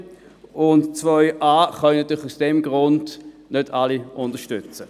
Den Antrag 2a.a können aus den genannten Gründen nicht alle unterstützen.